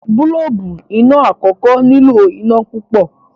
boolubu iná àkókò nilo iná pupọ.